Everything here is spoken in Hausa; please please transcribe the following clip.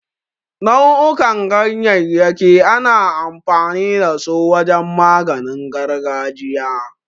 Nau'ukan ganyayyaki ana amfani da su wajen maganin gargajiya.